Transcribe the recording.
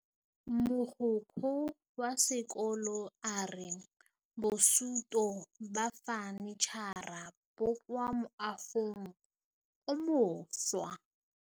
Mogokgo wa sekolo a re bosutô ba fanitšhara bo kwa moagong o mošwa.